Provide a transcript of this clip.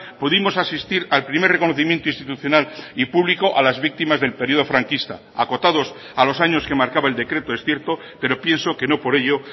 pudimos asistir al primer reconocimiento institucional y público a las víctimas del período franquista acotados a los años que marcaba el decreto es cierto pero pienso que no por ello